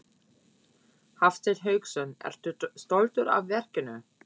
Hafsteinn Hauksson: Ertu stoltur af verkinu?